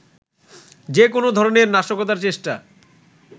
যে কোনো ধরনের নাশকতার চেষ্টা